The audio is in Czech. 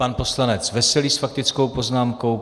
Pan poslanec Veselý s faktickou poznámkou.